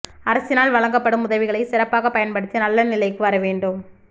அரசினால் வழங்கப்படும் உதவிகளை சிறப்பாக பயன்படுத்தி நல்ல நிலைக்கு வர வேண்டும்